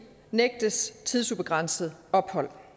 nægtes tidsubegrænset ophold